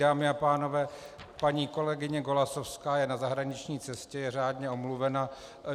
Dámy a pánové, paní kolegyně Golasowská je na zahraniční cestě, je řádně omluvena.